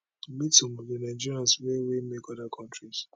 meet some of di nigerians wey wey make oda kontris